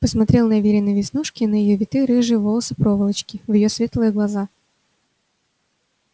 посмотрел на верины веснушки на её витые рыжие волосы-проволочки в её светлые глаза